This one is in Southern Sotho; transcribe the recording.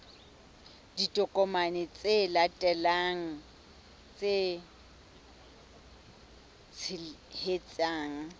ditokomane tse latelang tse tshehetsang